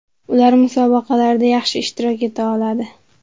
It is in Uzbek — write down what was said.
Ular musobaqalarda yaxshi ishtirok eta oladi.